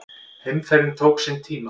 Heimferðin tók sinn tíma.